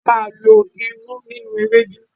A máa má lo irú nínú Ewédú.